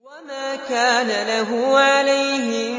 وَمَا كَانَ لَهُ عَلَيْهِم